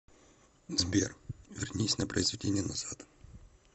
сбер вернись на произведение назад